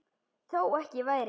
Þó ekki væri.